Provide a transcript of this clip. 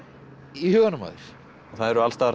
í huganum á þér það eru alls staðar